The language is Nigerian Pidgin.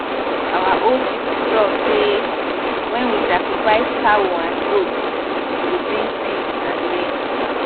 our old people talk say when we sacrifice cow and goat e go bring peace and rain